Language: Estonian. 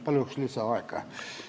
Palun lisaaega!